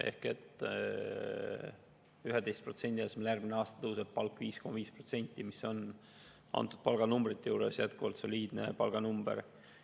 Lihtsalt 11% asemel järgmisel aastal tõuseb palk 5,5%, mis nende palganumbrite juures on jätkuvalt soliidne.